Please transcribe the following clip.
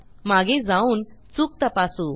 मागे जाऊन चूक तपासू